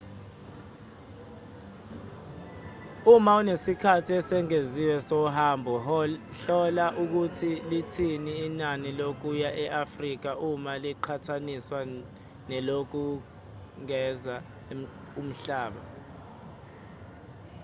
uma unesikhathi esengeziwe sohambo hlola ukuthi lithini inani lokuya e-afrika uma liqhathaniswa nelokuzungeza umhlaba